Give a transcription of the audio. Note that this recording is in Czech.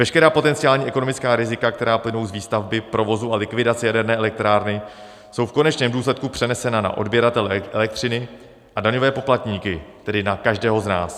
Veškerá potenciální ekonomická rizika, která plynou z výstavby, provozu a likvidace jaderné elektrárny, jsou v konečném důsledku přenesena na odběratele elektřiny a daňové poplatníky, tedy na každého z nás.